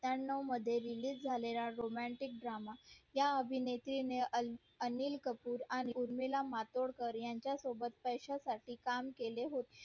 ऐक्यनव मध्ये release झालेला romantic drama या अभिनेत्री ने अनिल कपूर आणि उर्मिला मातोंडकर त्यांच्या सोबत पैशा साठी काम केले होते